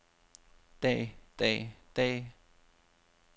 dag dag dag